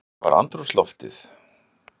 Hvernig var andrúmsloftið?